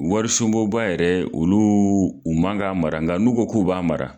Warisunbonba yɛrɛ olu u man ka mara nga n'u ko k'u b'a mara